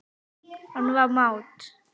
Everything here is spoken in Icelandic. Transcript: Hann var mát.